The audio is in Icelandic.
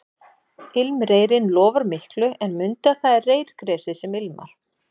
Ilmreyrinn lofar miklu en mundu að það er reyrgresið sem ilmar